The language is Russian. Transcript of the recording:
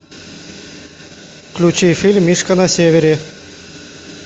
включи фильм мишка на севере